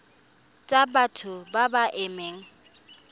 tsa batho ba ba amegang